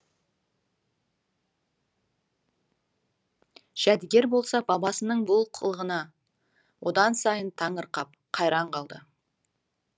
жәдігер болса бабасының бұл қылығына одан сайын таңырқап қайран қалды